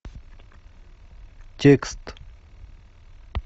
текст